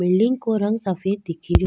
Building को रंग सफ़ेद दिखे रो।